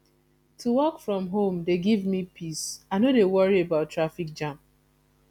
to work from home dey give me peace i no dey worry about traffic jam